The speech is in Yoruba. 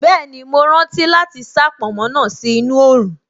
Bẹ́ẹ̀ni, mo rántí láti sá pònmó náà sí inú oòrùn